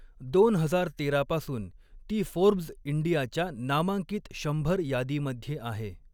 दोन हजार तेरा पासून ती फोर्ब्स इंडियाच्या नामांकित शंभर यादीमध्ये आहे.